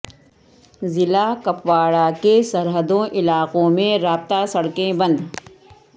ضلع کپواڑہ کے سرحدوں علاقوں میں رابطہ سڑکیں بند